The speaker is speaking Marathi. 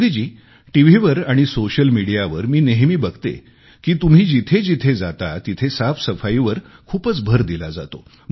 मोदी जी टीव्हीवर आणि सोशल मीडियावर मी नेहमी बघते की तुम्ही जिथे जिथे जाता तिथे साफसफाईवर खूपच भर दिला जातो